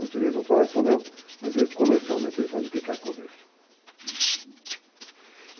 Os direitos autorais são meus, mas comercialmente ele faz o que quer com o livro.